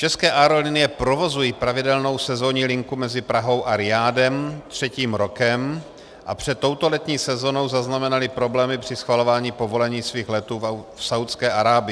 České aerolinie provozují pravidelnou sezónní linku mezi Prahou a Rijádem třetím rokem a před touto letní sezónou zaznamenaly problémy při schvalování povolení svých letů v Saúdské Arábii.